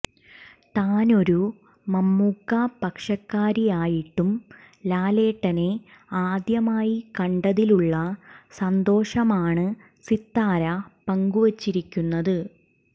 താനൊരു മമ്മൂക്ക പക്ഷക്കാരിയായിട്ടും ലാലേട്ടനെ ആദ്യമായി കണ്ടതിലുള്ള സന്തോഷമാണ് സിത്താര പങ്കുവച്ചിരിക്കുന്നത്